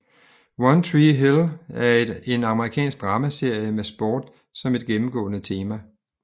One Tree Hill er en amerikansk dramaserie med sport som et gennemgående tema